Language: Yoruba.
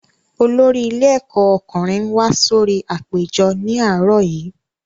Olórí ilé ẹ̀kọ́ ọkùnrin wá sórí apèjọ ní àárọ̀ yìí